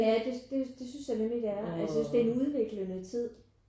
Ja det det synes jeg nemlig det er jeg synes det er en udviklende tid